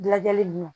Lajɛli ninnu